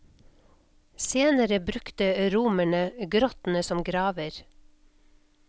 Senere brukte romerne grottene som graver.